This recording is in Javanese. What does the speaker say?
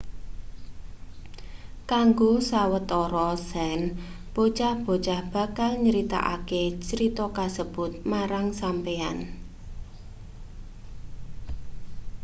kanggo sawetara sen bocah-bocah bakal nyritakake crita kasebut marang sampeyan